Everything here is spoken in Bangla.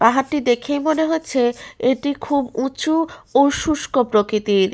পাহাড়টি দেখেই মনে হচ্ছে এটি খুব উঁচু ও শুষ্ক প্রকৃতির ।